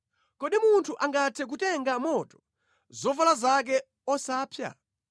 Kodi munthu angathe kutenga moto zovala zake osapsa?